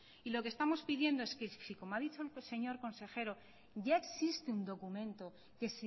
y lo que estamos pidiendo y es que si como ha dicho el señor consejero ya existe un documento que